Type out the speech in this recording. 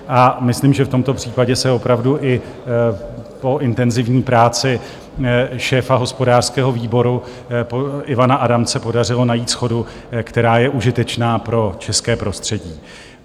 A myslím, že v tomto případě se opravdu i po intenzivní práci šéfa hospodářského výboru Ivana Adamce podařilo najít shodu, která je užitečná pro české prostředí.